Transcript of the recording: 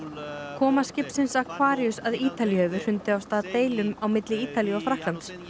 koma skipsins Aquarius að Ítalíu hefur hrundið af stað deilum á milli Ítalíu og Frakklands